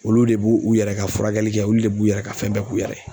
Olu de b'u u yɛrɛ ka furakɛli kɛ olu de b'u yɛrɛ ka fɛn bɛɛ k'u yɛrɛ ye